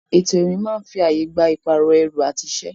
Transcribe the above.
Ètò ìrìn máa ń fi ààyè gba ìpààrọ̀ ẹrù àti iṣẹ́.